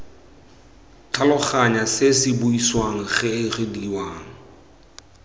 tlhaloganya se se buisiwang reediwang